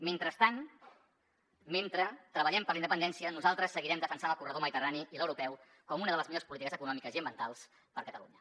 mentrestant mentre treballem per la independència nosaltres seguirem defensant el corredor mediterrani i l’europeu com una de les millors polítiques econòmiques i ambientals per a catalunya